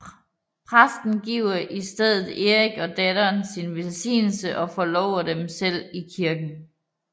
Præsten giver så i stedet Erik og datteren sin velsignelse og forlover dem selv i kirken